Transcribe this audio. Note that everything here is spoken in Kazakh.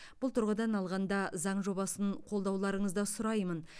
бұл тұрғыдан алғанда заң жобасын қолдауларыңызды сұраймын